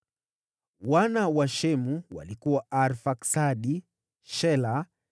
Wana wa Shemu walikuwa Arfaksadi, Shela,